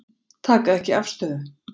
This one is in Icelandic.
Taka ekki afstöðu